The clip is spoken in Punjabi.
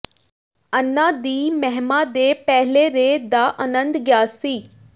ਅੰਨਾ ਦੀ ਮਹਿਮਾ ਦੇ ਪਹਿਲੇ ਰੇ ਦਾ ਆਨੰਦ ਗਿਆ ਸੀ